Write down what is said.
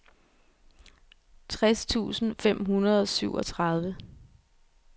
tres tusind fem hundrede og syvogtredive